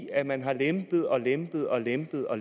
at man har lempet lempet og lempet og